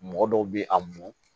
Mɔgɔ dɔw bɛ a mɔ